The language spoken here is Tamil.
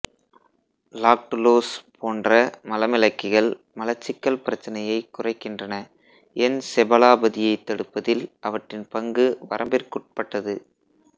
லாக்டுலோஸ் போன்ற மலமிளக்கிகள் மலச்சிக்கல் பிரச்சினையைக் குறைக்கின்றன என்செபலாபதியைத் தடுப்பதில் அவற்றின் பங்கு வரம்பிற்குட்பட்டது